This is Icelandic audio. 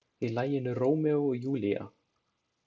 Í laginu Rómeó og Júlía.